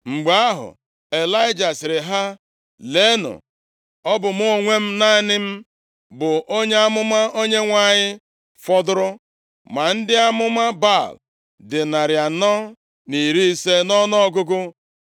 Mgbe ahụ Ịlaịja sịrị ha, “Leenụ! Ọ bụ mụ onwe m, naanị m, bụ onye amụma Onyenwe anyị fọdụrụ, ma ndị amụma Baal dị narị anọ na iri ise nʼọnụọgụgụ.